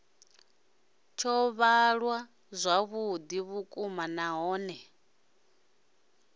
tsho fhaṱwa zwavhuḓi vhukuma nahone